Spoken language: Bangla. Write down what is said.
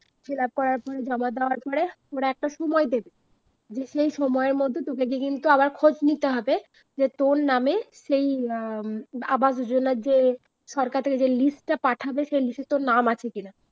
fillup করার পরে জমা দেওয়ার পরে ওরা একটা সময় দেবে, যে সেই সময়ের মধ্যে তোকে গিয়ে কিন্তু আবার খোঁজ নিতে হবে যে তোর নামে সেই অ্যাঁ উম আবাস যোজনার যে সরকার থেকে যে list টা পাঠাবে সেই list টায় তোর নাম আছে কিনা?